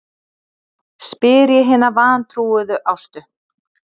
spyr ég hina vantrúuðu Ástu.